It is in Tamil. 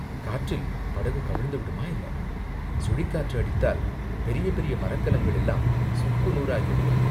காற்றில் படகு கவிழ்ந்துவிடுமா, என்ன?" "சுழிக்காற்று அடித்தால் பெரிய பெரிய மரக்கலங்கள் எல்லாம் சுக்கு நூறாகிவிடும்.